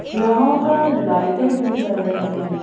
यहां पर लाइटें भी जल रही हैं।